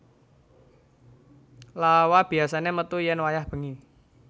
Lawa biyasané metu yén wayah bengi